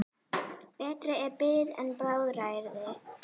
Betri er bið en bráðræði.